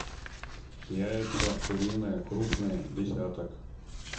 яйца куриные крупные десяток